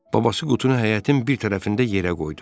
Babası qutunu həyətin bir tərəfində yerə qoydu.